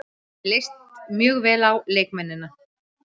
Mér leist mjög vel á leikmennina.